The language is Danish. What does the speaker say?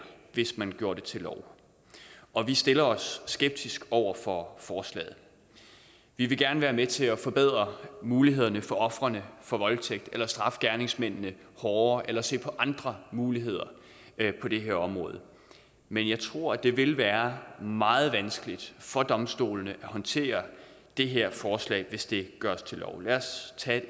hvis man gjorde det til lov og vi stiller os skeptiske over for forslaget vi vil gerne være med til at forbedre mulighederne for ofrene for voldtægt eller straffe gerningsmændene hårdere eller se på andre muligheder på det her område men jeg tror at det vil være meget vanskeligt for domstolene at håndtere det her forslag hvis det gøres til lov lad os tage